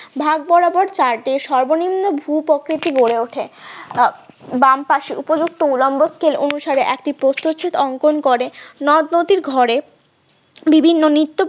ভাগ বরাবর চাটে সর্বনিম্ন ভুপ্রকৃতি গড়ে ওঠে বাম পাশে উপযুক্ত উলম্ব scale অনুসারে একটি প্রস্থচ্ছেদ অঙ্কন করে নদনদীর ঘরে বিভিন্ন নিত্য